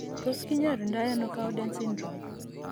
Tos kinyoru ndo ano Cowden syndrome ?